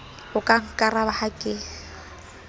o ka nkaraba ha ke